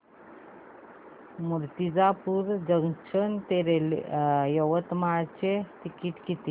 Murtijapur junction ते यवतमाळ चे ticket किती